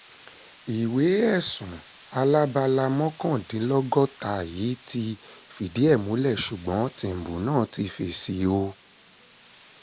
ìwé ẹ̀sùn alábala mọ́kàndínlọ́gọ́ta yìí ti fìdí ẹ̀ múlẹ̀ ṣùgbọ́n tìǹbù náà ti fèsì o